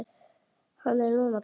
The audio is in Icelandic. Hann er dáinn núna.